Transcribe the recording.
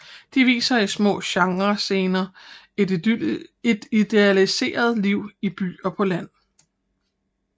De viser i små genrescener et idealiseret liv i by og på land